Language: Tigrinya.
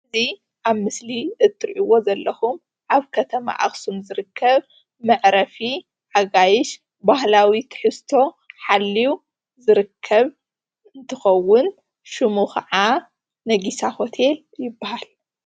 እዚ ኣብ ምስሊ እትሪእዎ ዘለኹም ኣብ ከተማ ኣክሱም ዝርከብ መዕረፊ ኣጋይሽ ባህላዊ ትሕዝቶ ሓልዩ ዝርከብ እንትኸውን ሽሙ ካዓ ነጊሳ ሆቴል ይባሃል፡፡